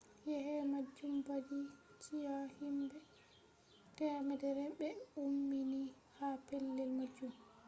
yeke majum badi chi'a himbe 100 be ummini ha pellel majum